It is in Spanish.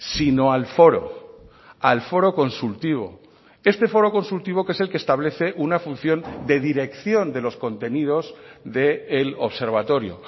sino al foro al foro consultivo este foro consultivo que es el que establece una función de dirección de los contenidos del observatorio